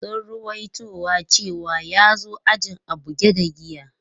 Sun ruwaito cewa ya zo ajin a buge da giya.